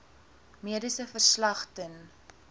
mediese verslag ten